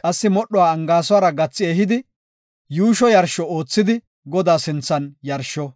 Qassi modhuwa angaasuwara gathi ehidi yuusho yarsho oothidi Godaa sinthan yarsho.